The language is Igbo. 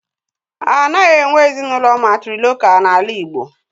Anaghị enwe ezinụlọ mátrịlokál n'ala igbo